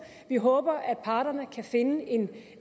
vi håber at parterne kan finde